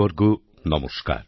আমার পরিবারবর্গ নমস্কার